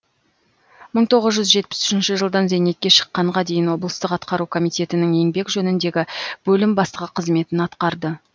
мың тоғыз жүз жетпіс үшінші жылдан зейнетке шыққанға дейін облыстық атқару комитетінің еңбек жөніндегі бөлім бастығы қызметін атқарды